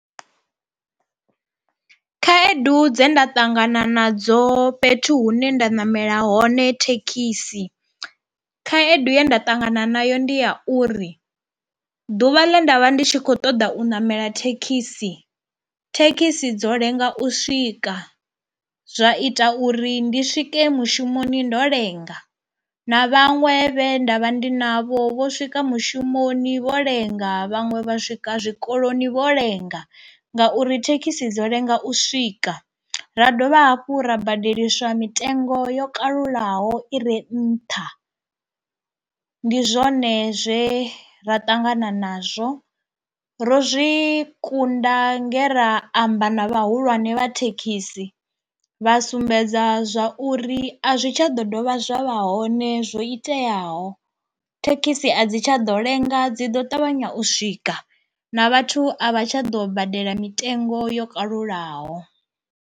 Khaedu dze nda ṱangana nadzo fhethu hune nda ṋamela hone thekhisi, khaedu ye nda ṱangana nayo ndi ya uri ḓuvha ḽe nda vha ndi tshi khou ṱoḓa u namela thekhisi thekhisi dzo lenga u swika zwa ita uri ndi swike mushumoni ndo lenga na vhaṅwe vhe ndavha ndi navho vho swika mushumoni vho lenga vhaṅwe vha swika zwikoloni vho lenga ngauri thekhisi dzo lenga u swika ra dovha hafhu ra badeliswa mitengo yo kalulaho ire nṱha ndi zwone zwe ra ṱangana nazwo. Ro zwi kunda nge ra amba na vhahulwane vha thekhisi vha sumbedza zwa uri a zwi tsha ḓo dovha zwa vha hone zwo iteaho thekhisi a dzi tsha ḓo lenga dzi ḓo ṱavhanya u swika na vhathu a vha tsha ḓo badela mitengo yo kalulaho.